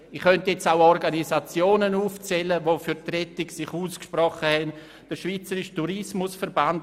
Ich könnte jetzt auch Organisationen aufzählen, die sich für die Rettung ausgesprochen haben, wie etwa den Schweizerischen Tourismusverband.